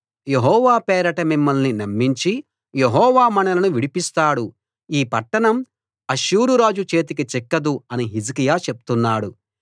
యెహోవా పేరట మిమ్మల్ని నమ్మించి యెహోవా మనలను విడిపిస్తాడు ఈ పట్టణం అష్షూరురాజు చేతికి చిక్కదు అని హిజ్కియా చెప్తున్నాడు